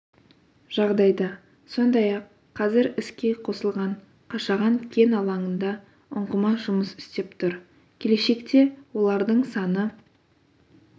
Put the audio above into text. жағдайда сондай-ақ қазір іске қосылған қашаған кен алаңында ұңғыма жұмыс істеп тұр келешекте олардың саны